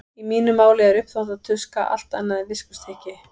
Í mínu máli er uppþvottatuska allt annað en viskustykki.